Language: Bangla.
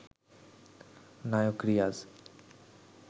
নায়ক রিয়াজ